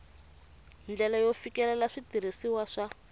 ndlela yo fikelela switirhisiwa swa